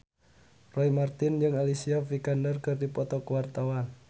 Roy Marten jeung Alicia Vikander keur dipoto ku wartawan